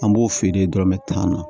An b'o feere dɔrɔmɛ tan na